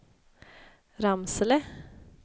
Ramsele